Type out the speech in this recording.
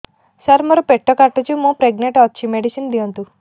ସାର ମୋର ପେଟ କାଟୁଚି ମୁ ପ୍ରେଗନାଂଟ ଅଛି ମେଡିସିନ ଦିଅନ୍ତୁ